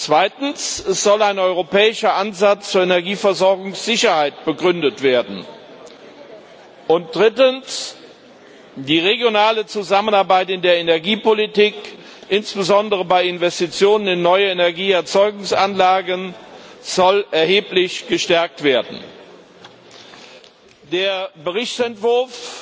Zweitens soll ein europäischer Ansatz zur Energieversorgungssicherheit begründet werden, und drittens soll die regionale Zusammenarbeit in der Energiepolitik, insbesondere bei Investitionen in neue Energieerzeugungsanlagen, erheblich gestärkt werden. Der Berichtsentwurf